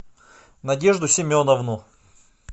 надежду семеновну